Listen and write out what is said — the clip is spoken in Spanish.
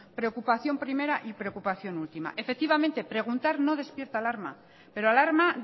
preocupación primera y preocupación última efectivamente preguntar no despierta alarma pero alarma